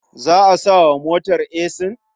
Za a sa wa motar esin?